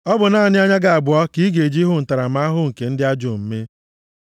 Ọ bụ naanị anya gị abụọ ka ị ga-eji hụ ntaramahụhụ nke ndị ajọ omume.